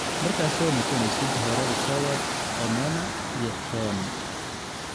markaa Soo noqonesid hore usowaad omena iyo toon